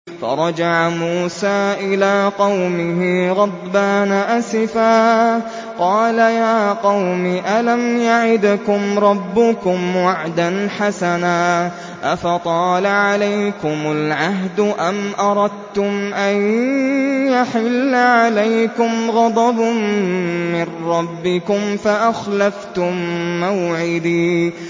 فَرَجَعَ مُوسَىٰ إِلَىٰ قَوْمِهِ غَضْبَانَ أَسِفًا ۚ قَالَ يَا قَوْمِ أَلَمْ يَعِدْكُمْ رَبُّكُمْ وَعْدًا حَسَنًا ۚ أَفَطَالَ عَلَيْكُمُ الْعَهْدُ أَمْ أَرَدتُّمْ أَن يَحِلَّ عَلَيْكُمْ غَضَبٌ مِّن رَّبِّكُمْ فَأَخْلَفْتُم مَّوْعِدِي